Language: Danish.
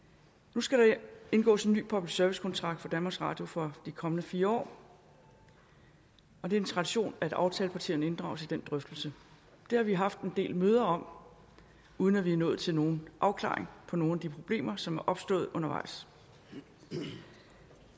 nu skal der indgås en ny public service kontrakt for danmarks radio for de kommende fire år og det er en tradition at aftalepartierne inddrages i den drøftelse det har vi haft en del møder om uden at vi er nået til nogen afklaring på nogen af de problemer som er opstået undervejs